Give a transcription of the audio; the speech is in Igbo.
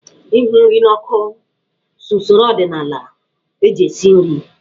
Ịhụ nri n'ọkụ so n'usoro ọdịnaala eji esi nri.